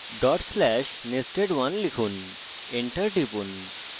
/nested1 লিখুন enter টিপুন